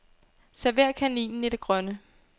Server kaninen i det grønne.